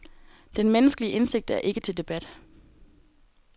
Den menneskelige indsigt er ikke til debat.